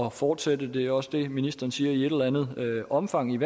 at fortsætte det er også det ministeren siger i et eller andet omfang